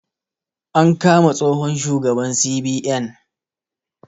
An kama tsohon shugaban CBN